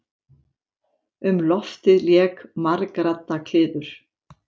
Um loftið lék margradda kliður.